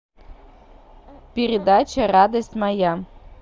передача радость моя